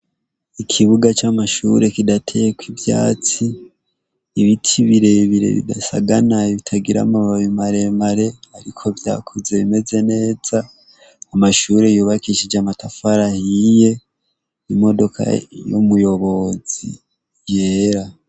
Ikibuga c' amashure kidateyek'ivyatsi, ibiti birebire bidasaganaye bitagir' amababi maremare, ariko vyakuze bimeze neza, amashure yubakishij amatafar'ahiye, imodoka y' umuyobozi yera.